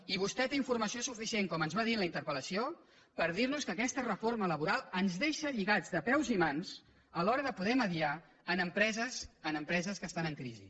i vostè té informació suficient com ens va dir en la interpel·lació per dir nos que aquesta reforma laboral ens deixa lligats de peus i mans a l’hora de poder mitjançar en empreses que estan en crisi